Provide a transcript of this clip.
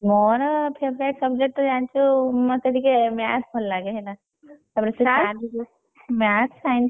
ମୋର favourite subject ତ ଜାଣିଛୁ ମତେ ଟିକେ Math ଭଲ ଲାଗେ ହେଲା ତାପରେ ସିଏ sir ବି Math, Science ।